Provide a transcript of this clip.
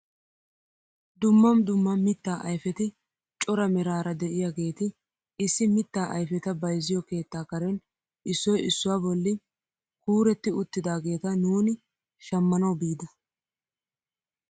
Dumma dumma mittaa ayfeti cora meraara de'iyaageti issi mitta ayfeta bayzziyoo keettaa karen issoy issuwaa bolli kuretti uttidaageta nuuni shammanawu bida!